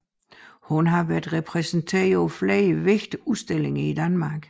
Hun har været repræsenteret på flere vigtige udstillinger i Danmark